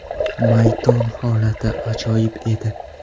Maydon holati ajoyib edi.